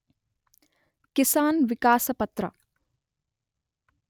ಕಿಸಾನ್ ವಿಕಾಸ ಪತ್ರ